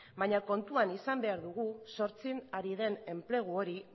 baina kontuan izan behar dugu sortzen ari den enplegu hori